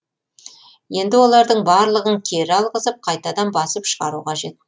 енді олардың барлығын кері алғызып қайтадан басып шығару қажет